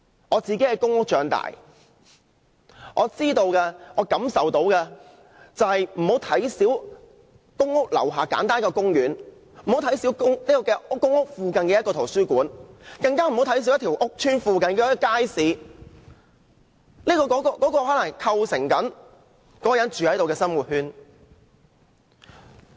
我在公屋長大，我認為大家不要小看公屋樓下那個簡單的公園，也不要小看公屋附近的圖書館，更不要小看屋邨附近的街市，全部都可能構成了當地居民的生活圈。